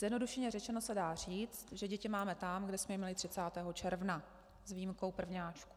Zjednodušeně řečeno se dá říct, že děti máme tam, kde jsme je měli 30. června, s výjimkou prvňáčků.